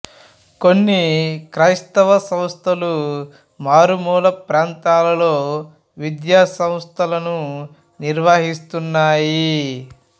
కొన్ని క్రైస్తవ సంస్థలు మారుమూల ప్రాంతాలలో విద్యా సంస్థలను నిర్వహిస్తున్నాయి